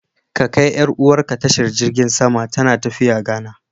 Ka kai 'yar'uwarka tashar jirgin sama, tana tafiya Ghana.